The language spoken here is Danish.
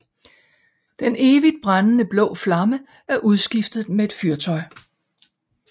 Den evigt brændende blå flamme er udskiftet med et fyrtøj